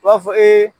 U b'a fɔ